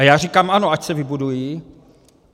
A já říkám ano, ať se vybudují.